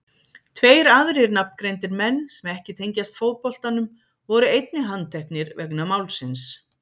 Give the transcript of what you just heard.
Tveir aðrir nafngreindir menn sem ekki tengjast fótboltanum voru einnig handteknir vegna málsins.